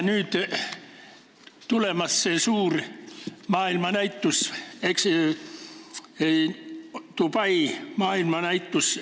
Nüüd on tulemas suur maailmanäitus, Dubai maailmanäitus.